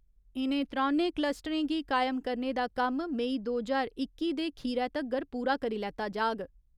इ'नें त्रौनें कलस्टरें गी कायम करने दा कम्म मेई दो ज्हार इक्की दे खीरै तगर पूरा करी लैता जाग।